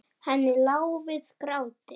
Henni lá við gráti.